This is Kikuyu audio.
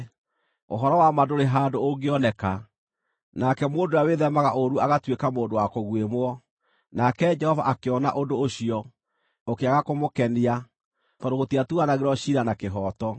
Ũhoro wa ma ndũrĩ handũ ũngĩoneka, nake mũndũ ũrĩa wĩthemaga ũũru agatuĩka mũndũ wa kũguĩmwo. Nake Jehova akĩona ũndũ ũcio, ũkĩaga kũmũkenia, tondũ gũtiatuanagĩrwo ciira na kĩhooto.